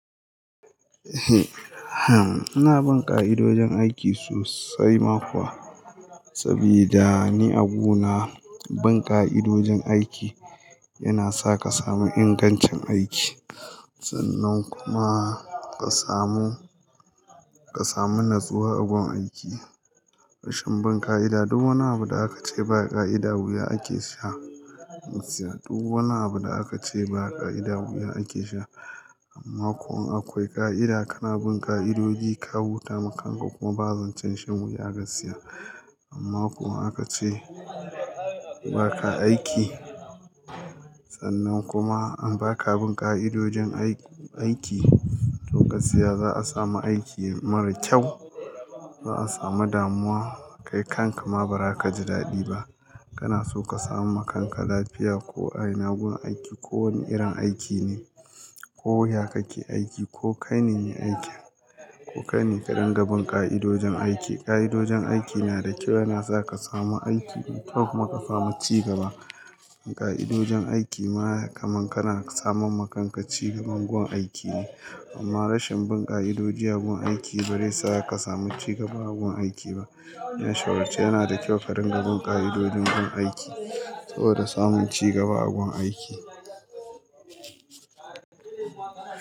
Ina bin ka'idojin aiki sosai ma kuwa. Saboda ni a guna, bin ƙa'idojin aiki yana sa ka samu ingancin aiki. Sannan kuma ka samu, ka samu natsuwa a gun aiki. Rashin bin ƙa'ida duk wani abu da aka ce ba ƙa'ida wuya ake sha. Duk wani abu da aka ce ba ƙa'ida wuya ake sha amma kuwa in akwai ƙa'ida kana bin ƙa'idoji ka huta makanka kuma ba zancen shan wuya gaskiya. Amma ko in aka ce baka aiki, sannan kuma in baka bin ƙa'idojin ai-aiki to gaskiya za'a samu aiki mara kyau. Za'a samu damuwa kai kanka ma ba za ka ji daɗi ba. Kana so ka samam ma kanka lafiya ko a ina gun aiki ko wane irin aiki ne. Ko ya kake aiki ko kai ne me aikin. Ko kaine ka dinga bin ƙa'idojin aiki. Ƙa'idojin aiki na da kyau yana sa ka samu aiki me kyau kuma ka samu ci gaba. Ƙa'idojin aiki ma kaman kana saman makanka ci gaban gun aiki ne. Amma rashin bin ƙa'idoji a gun aiki bare sa ka samu ci gaba a gun aiki ba. Kuma a shawarce yana da kyau ka dinga bin ƙa'idoji gun aiki saboda samun ci gaba a gun aiki.